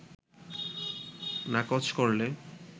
নাকচ করলে